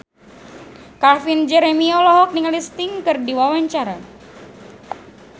Calvin Jeremy olohok ningali Sting keur diwawancara